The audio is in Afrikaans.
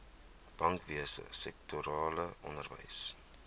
bankwese sektorale onderwys